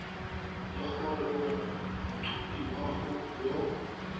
le gore o mothapiwa yo